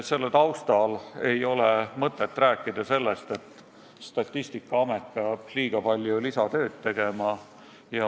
Selle taustal ei ole mõtet rääkida, et Statistikaamet peab liiga palju lisatööd tegema.